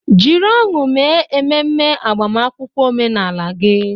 Jiri ọṅụ mee ememe agbamakwụkwọ omenala gị.